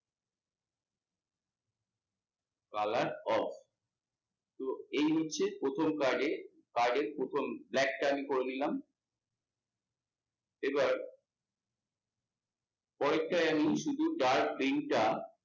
colour of তো এই হচ্ছে প্রথম card এর card এ প্রথম black টা আমি করে নিলাম, এবার পরের তাই আমি শুধু dark green টা